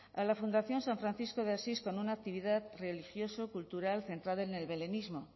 a la fundación san francisco de asís con una actividad religioso cultural centrada en el belenismo